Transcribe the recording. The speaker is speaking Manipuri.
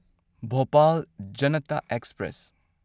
ꯚꯣꯄꯥꯜ ꯖꯅꯇ ꯑꯦꯛꯁꯄ꯭ꯔꯦꯁ